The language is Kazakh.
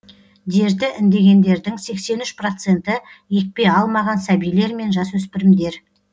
дерті індегендердің сексен үш проценті екпе алмаған сәбилер мен жасөспірімдер